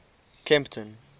kempton